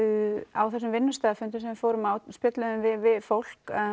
á þessum vinnustaðarfundum sem við fórum á spjölluðum við við fólk